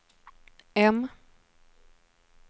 M